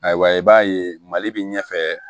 Ayiwa i b'a ye mali bi ɲɛfɛ